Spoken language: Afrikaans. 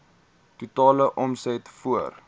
totale omset voor